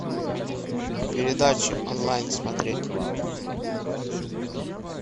передачи онлайн смотреть